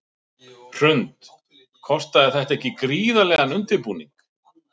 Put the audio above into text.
Hrund: Kostaði þetta ekki gríðarlegan undirbúning?